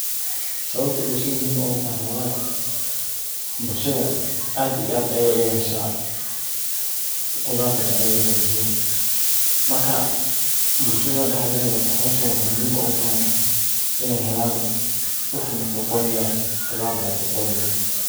Sawabta bulshada muhiim ogutahay wayo bulshada aad iyo aad ayey muhiim ogutahay qudata nocyadan kaladuwan maka waxa muhiim uah in ey helan qudar nafaqo leeh.